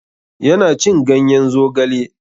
Ya na cin ganyen zogale.